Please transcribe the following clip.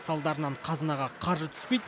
салдарынан қазынаға қаржы түспейді